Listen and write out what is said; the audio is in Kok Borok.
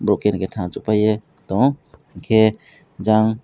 abo khe thangsok paiye tongo hwnkhe jang.